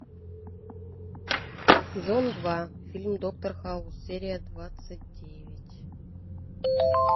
сезон два фильм доктор хаус серия двадцать девять